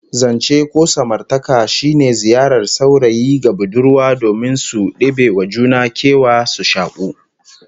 Zance ko samartaka shine ziyarar saurayi ga budurwa domin su debe wa juna kewa, su shaku